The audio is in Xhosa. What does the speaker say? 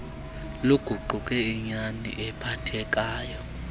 luguquke inyani ephathekayo